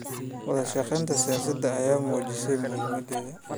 Wadashaqeynta siyaasadeed ayaa muujisay muhiimaddeeda.